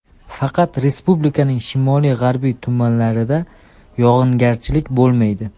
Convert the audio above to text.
Faqat respublikaning shimoli-g‘arbiy tumanlarida yog‘ingarchilik bo‘lmaydi.